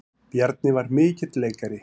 Bjarni var mikill leikari.